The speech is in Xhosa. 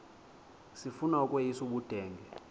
sifuna ukweyis ubudenge